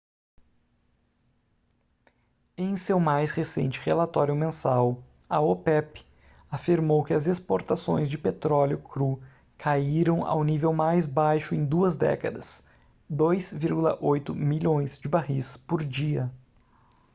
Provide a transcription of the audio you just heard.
em seu mais recente relatório mensal a opep afirmou que as exportações de petróleo cru caíram ao nível mais baixo em duas décadas 2,8 milhões de barris por dia